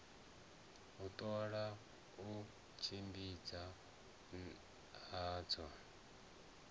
u ṱola u tshimbidzana hadzo